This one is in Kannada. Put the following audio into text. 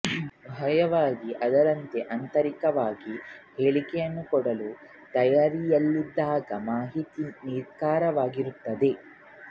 ಬಾಹ್ಯವಾಗಿ ಅದರಂತೆ ಆಂತರಿಕವಾಗಿ ಹೇಳಿಕೆಯನ್ನು ಕೊಡಲು ತಯಾರಿಯಲ್ಲಿದ್ದಾಗ ಮಾಹಿತಿಯು ನಿಖರವಾಗಿರುತ್ತದೆ